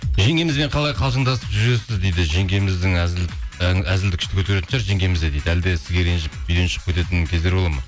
жеңгемізбен қалай қалжыңдасып жүресіз дейді әзілді күшті көтеретін шығар жеңгеміз де әлде сізге ренжіп үйден шығып кететін кездер болады ма